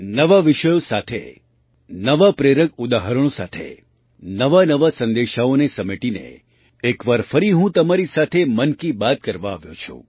નવા વિષયો સાથે નવાં પ્રેરક ઉદાહરણો સાથે નવાનવા સંદેશાઓને સમેટીને એક વાર ફરી હું તમારી સાથે મન કી બાત કરવા આવ્યો છું